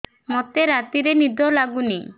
ମୋତେ ରାତିରେ ନିଦ ଲାଗୁନି